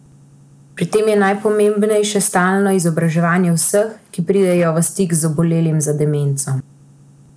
Pri tem je najpomembnejše stalno izobraževanje vseh, ki pridejo v stik z obolelim za demenco.